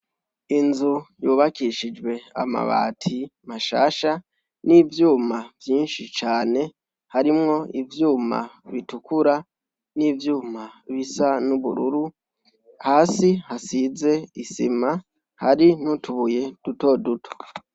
Inzu yubakishijwe amabati mashasha n'ivyuma vyinshi cane, harimwo ivyuma bitukura n'ivyuma bisa n'ubururu, hasi hasize isima, hari n'utubuye dutoduto.